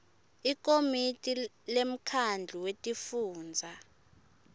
likomiti lemkhandlu wetifundza